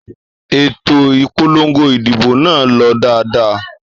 Ètò ìpolongo ìdìbò nà lọ dáadáa